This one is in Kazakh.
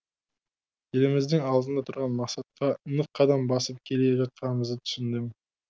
еліміздің алдында тұрған мақсатқа нық қадам басып келе жатқандығымызды түсіндім